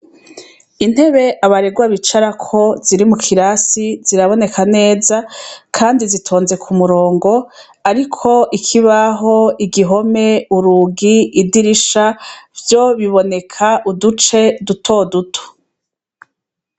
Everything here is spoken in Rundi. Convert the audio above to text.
Intebe abarerwa bicarako ziri mukirasi ziraboneka neza kandi zitonze kumurongo ariko ikibaho igihome urugi idirisha vyo biboneka uduce dutoduto